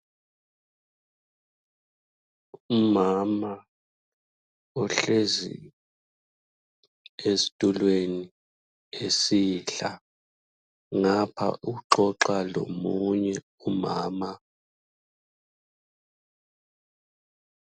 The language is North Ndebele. Umama uhlezi esitulweni esidla, ngapha uxoxa lomunye umama.